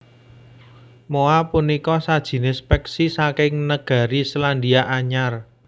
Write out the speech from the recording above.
Moa punika sajinis peksi saking negari Selandia Anyar